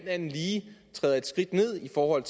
andet lige træder et skridt ned i forhold